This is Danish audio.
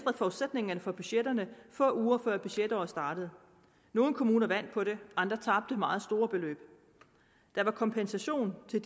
forudsætningerne for budgetterne få uger før budgetåret startede nogle kommuner vandt på det andre tabte meget store beløb der var kompensation til